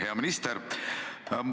Hea minister!